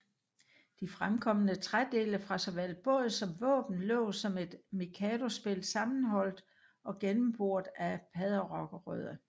De fremkomne trædele fra såvel båd som våben lå som et mikadospil sammenholdt og gennemboret af padderokrødder